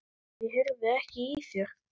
Ég heyrði ekki í þér.